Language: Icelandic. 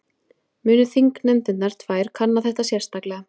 Muni þingnefndirnar tvær kanna þetta sérstaklega